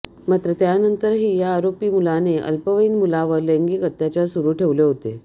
मात्र त्यानंतरही या आरोपी मुलाने अल्पवयीन मुलावर लैंगिक अत्याचार सुरु ठेवले होते